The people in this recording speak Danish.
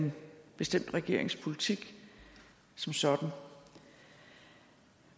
en bestemt regerings politik som sådan